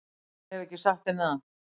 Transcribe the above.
Ég hef ekki sagt henni það.